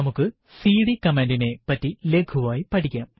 നമുക്ക് CD command നെ പറ്റി ലഘുവായി പഠിക്കാം